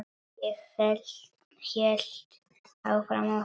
Ég hélt áfram að stela.